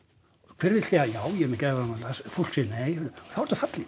hver vill segja já ég er með geðræn vandamál fólk segir nei og þá ertu fallinn